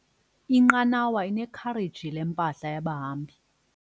Inqanawa inekhareji lempahla yabahambi.